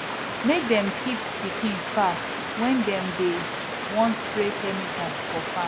make dem keep pikin far when dem dey wan spray chemicals for farm